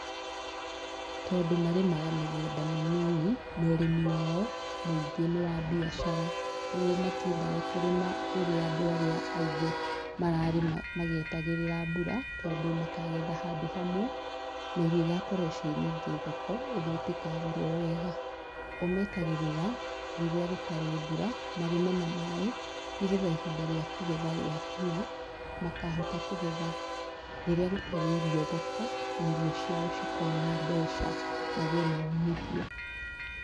Tondũ marĩmaga mĩgũnda mĩnini, na ũrĩmi wao mũingĩ nĩ wa mbiacara, ũguo matiendaga kũrĩma rĩrĩa andũ arĩa aingĩ mararĩma magĩetagĩrĩra mbura, tondũ makagetha handũ hamwe na irio igakorwo ciĩ nyingĩ thoko ũguo itikagũrwo wega. O metagĩrĩra, rĩrĩa gũtarĩ mbura marĩme na maĩ nĩgetha ihinda rĩa kũgetha rĩakinya, makahota kũgetha rĩrĩa gũtarĩ irio thoko na irio ciao cikona mbeca magĩe na umithio.